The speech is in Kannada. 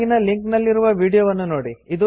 ಕೆಳಗಿನ ಲಿಂಕ್ ನಲ್ಲಿರುವ ವೀಡಿಯೊವನ್ನು ನೋಡಿ